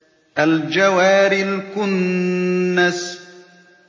الْجَوَارِ الْكُنَّسِ